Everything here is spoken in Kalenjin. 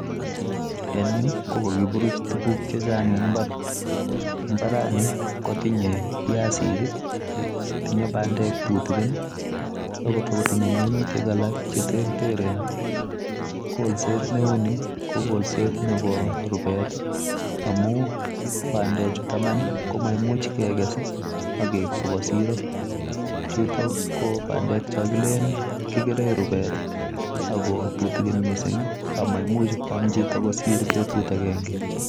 En yuu ko kokiburuch tukuk chechang en imbar, mbarani kotinye biasik, tinye bandek tutukin ak kotinye minutik alak cheterteren, kolset neuni ko kolset nebo rubeet amun bandechuton Iman ko maimuch kekes ak keib kobaa siroo, chutok ko bandek chon kilelen kikeren rubet ak ko tutukin mising amaimuch kwaam chito kosir betut akeng'e.